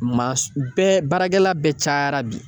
Maa sugu bɛɛ baarakɛla bɛɛ cayara bi.